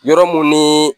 Yɔrɔ mun ni